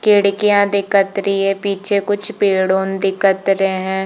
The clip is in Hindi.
खिड़कियाँ दिखत रही है पीछे कुछ पेड़ ऑन दिखत रहे है।